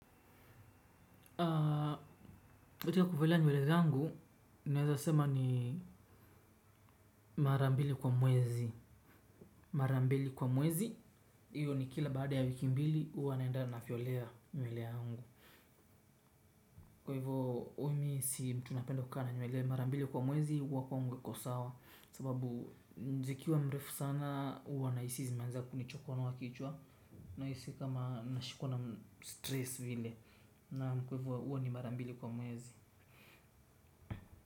Kwa hivyo nywele zangu naweza sema ni mara mbili kwa mwezi mara mbili kwa mwezi hiyo ni kila baada ya wiki mbili huwa naenda nafyolea nywele yangu. Kwa hivyo huwa mimi si mtu napenda kukaa na nywele mara mbili kwa mwezi huwa kwangu haiko sawa kwa sababu zikiwa mrefu sana huwa nahisi zimeanza kunichokonoa kichwa. Nahisi kama nashikwa na stress vile kwa hivyo huwa ni mara mbili kwa mwezi.